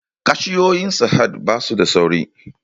Cashiyoyin sahad basu da sauri